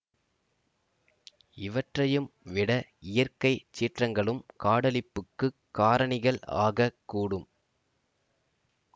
இவற்றையும் விட இயற்கை சீற்றங்களும் காடழிப்புக்குக் காரணிகள் ஆக கூடும்